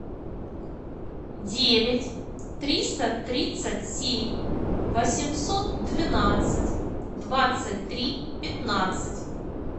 девять триста тридцать семь восемьсот двенадцать двадцать три пятнадцать